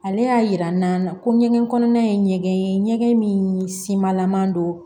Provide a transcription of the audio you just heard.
Ale y'a jira n na ko ɲɛgɛn kɔnɔna ye ɲɛgɛn ye ɲɛgɛn min simalaman don